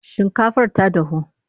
Shinkafar ta dahu?